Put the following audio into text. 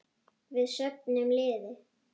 Við söfnum liði.